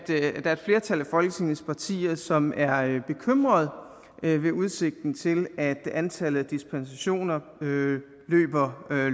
flertal af folketingets partier som er bekymret ved udsigten til at antallet af dispensationer løber